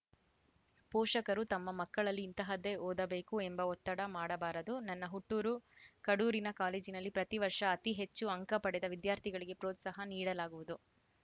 ಪೋಷಕರು ತಮ್ಮ ಮಕ್ಕಳಲ್ಲಿ ಇಂತಹದ್ದೇ ಓದಬೇಕು ಎಂಬ ಒತ್ತಡ ಮಾಡಬಾರದು ನನ್ನ ಹುಟ್ಟೂರು ಕಡೂರಿನ ಕಾಲೇಜಿನಲ್ಲಿ ಪ್ರತಿ ವರ್ಷ ಅತಿ ಹೆಚ್ಚು ಅಂಕ ಪಡೆದ ವಿದ್ಯಾರ್ಥಿಗಳಿಗೆ ಪ್ರೋತ್ಸಾಹ ನೀಡಲಾಗುವುದು